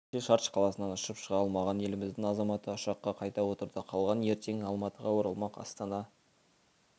кеше шардж қаласынан ұшып шыға алмаған еліміздің азаматы ұшаққа қайта отырды қалған ертең алматыға оралмақ астана